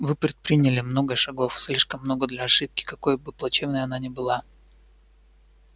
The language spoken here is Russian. вы предприняли много шагов слишком много для ошибки какой бы плачевной она ни была